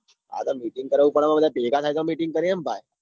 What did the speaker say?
અરે મિટિંગ કરું પણ બધા ભેગા થાય તો meeting કરીએ ને ભાઈ.